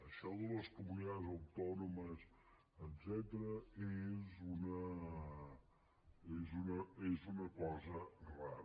això de las comunidades autónomas etcètera és una cosa rara